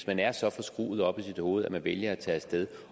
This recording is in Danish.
man er så forskruet oppe i sit hoved at man vælger at tage af sted